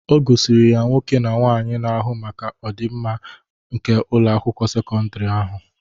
O gosiri ya nwoke na nwaanyị na-ahụ maka ọdimma nke Ụlọ akwụkwọ sekọndrị ahụ.